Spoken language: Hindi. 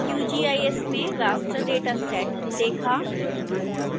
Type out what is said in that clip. qgis में raster dataset देखा